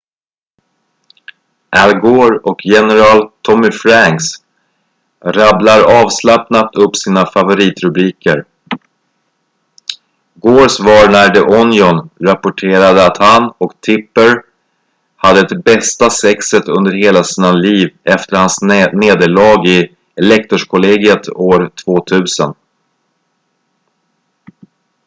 al gore och general tommy franks rabblar avslappnat upp sina favoritrubriker gores var när the onion rapporterade att han och tipper hade det bästa sexet under hela sina liv efter hans nederlag i elektorskollegiet år 2000